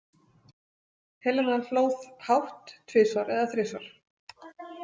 Helena hló hátt tvisvar eða þrisvar.